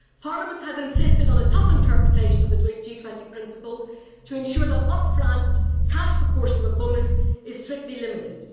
Parliament has insisted on a tough interpretation of the G20 principles to ensure that the upfront cash proportion of a bonus is strictly limited.